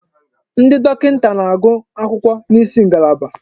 Ndi dọkịta na-agụ akwụkwọ n'isi ngalaba.